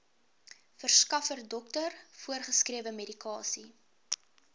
verskaffer dokter voorgeskrewemedikasie